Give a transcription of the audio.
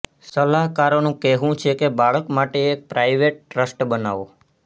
સલાહકારોનું કહેવું છે કે બાળક માટે એક પ્રાઇવેટ ટ્રસ્ટ બનાવો